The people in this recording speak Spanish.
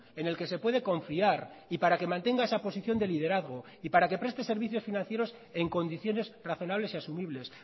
en el que se puede confiar y para que mantenga esa posición de liderazgo y para que preste servicios financieros en condiciones razonables y asumibles